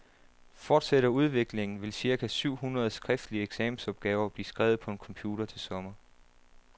Fortsætter udviklingen, vil cirka syv hundrede skriftlige eksamensopgaver blive skrevet på computer til sommer.